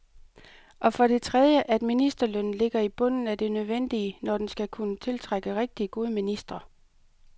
Og for det tredje, at ministerlønnen ligger i bunden af det nødvendige, når den skal kunne tiltrække rigtigt gode ministre.